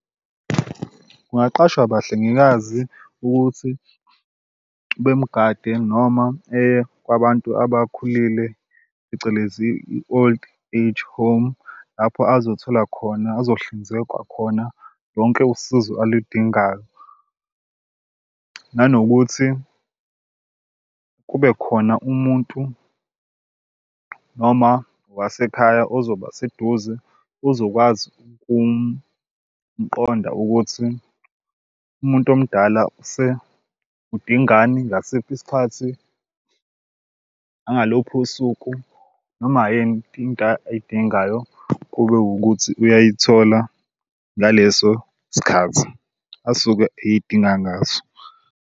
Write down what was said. Kungaqashwa abahlengikazi ukuthi bemugade noma eye kwabantu abakhulile, phecelezi i-old age home, lapho azothola khona azohlinzekwa khona lonke usizo aludingayo. Nanokuthi kube khona umuntu noma owasekhaya ozobe seduze, ozokwazi ukumqonda ukuthi umuntu omdala udingani ngasiphi isikhathi nangaluphi usuku noma ayidingayo kube wukuthi uyayithola ngaleso sikhathi asuke eyidinga ngaso.